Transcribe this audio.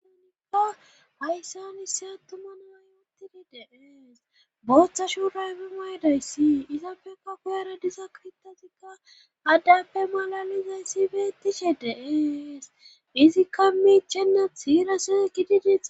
Hayssan issi attuma nanayuttidi de7ees booththa shuurayfe maydayssi izappekka koyara diza kitazikka addappe malalizayssi beettishe deees izikka miichenna hiira seekididis.